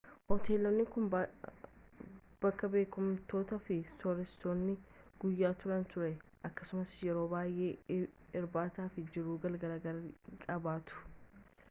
hoteelonni kun bakka beekamtoonni fi sooressoonni guyyaa turani ture akkasumas yeroo baay'ee irbaata fi jiruu galgalaa gaarii qabaatu